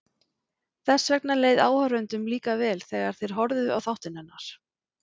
Þess vegna leið áhorfendum líka vel þegar þeir horfðu á þáttinn hennar.